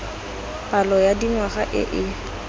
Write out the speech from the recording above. palo ya dingwaga e e